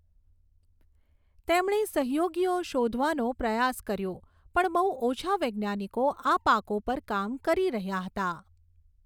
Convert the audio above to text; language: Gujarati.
તેમણે સહયોગીઓ શોધવાનો પ્રયાસ કર્યો પણ બહુ ઓછા વૈજ્ઞાનિકો આ પાકો પર કામ કરી રહ્યા હતા.